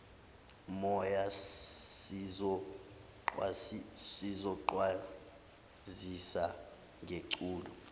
moya sizokwazisa ngeculo